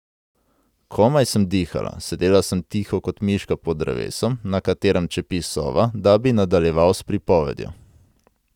Komaj sem dihala, sedela sem tiho kot miška pod drevesom, na katerem čepi sova, da bi nadaljeval s pripovedjo.